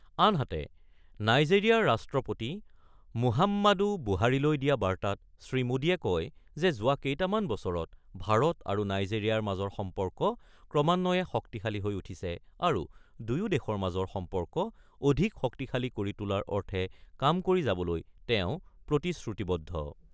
আনহাতে, নাইজেৰিয়াৰ ৰাষ্ট্ৰপতি মুহাম্মাদু বুহাৰিলৈ দিয়া বাৰ্তাত শ্ৰীমোদীয়ে কয় যে, যোৱা কেইটামান বছৰত ভাৰত আৰু নাইজেৰিয়াৰ মাজৰ সম্পৰ্ক ক্ৰমান্বয়ে শক্তিশালী হৈ উঠিছে আৰু দুয়ো দেশৰ মাজৰ সম্পৰ্ক অধিক শক্তিশালী কৰি তোলাৰ অৰ্থে কাম কৰি যাবলৈ তেওঁ প্ৰতিশ্ৰুতিবদ্ধ।